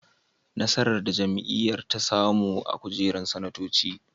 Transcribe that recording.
Nasarar da jam'iyyar ta samu na kujerun sanatoci.